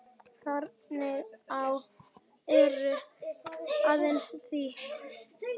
Þröngur áll er aðeins þíður.